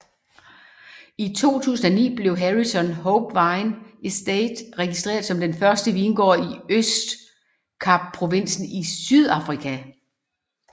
I 2009 blev Harrison Hope Wine Estate registreret som den første vingård i Østkapprovinsen i Sydafrika